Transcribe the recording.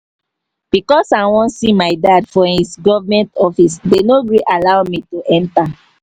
because i wan see my dad for his government office they no gree allow me to enter